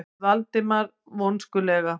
sagði Valdimar vonskulega.